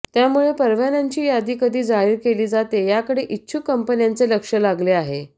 त्यामुळे परवान्यांची यादी कधी जाहीर केली जाते याकडे इच्छुक कंपन्यांचे लक्ष लागले आहे